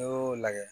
N'i y'o lagɛ